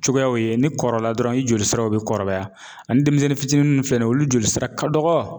Cogoyaw ye ni kɔrɔla dɔrɔn i joli siraw be kɔrɔbaya ani denmisɛnnin fitinin filɛ nin ye olu joli sira ka dɔgɔ